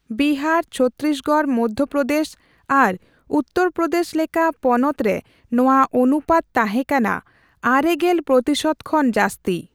ᱵᱤᱦᱟᱨ, ᱪᱷᱚᱛᱛᱤᱥᱜᱚᱲ, ᱢᱚᱫᱫᱷᱚᱯᱨᱚᱫᱮᱥ ᱟᱨ ᱩᱛᱛᱚᱨᱯᱨᱚᱫᱮᱥ ᱞᱮᱠᱟ ᱯᱚᱱᱛᱚ ᱨᱮ ᱱᱚᱣᱟ ᱚᱱᱩᱯᱟᱛ ᱛᱟᱦᱮᱸ ᱠᱟᱱᱟ ᱙᱐ ᱯᱨᱚᱛᱤᱥᱚᱛᱚ ᱠᱷᱚᱱ ᱡᱟᱹᱥᱛᱤ ᱾